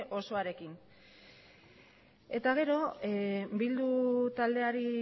osoarekin eta gero bildu taldeari